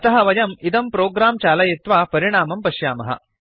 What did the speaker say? अतः वयम् इदं प्रोग्राम् चालयित्वा परिणामं पश्यामः